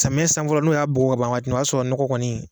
Samiyɛ san fɔlɔ n'o y'a bugɔ ka ban waati min na o b'a sɔrɔ nɔgɔ kɔni